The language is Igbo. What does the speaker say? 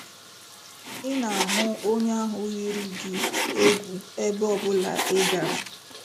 Ị na-ahụ onye ahụ yiri gị egwu ebe ọ bụla ị gara.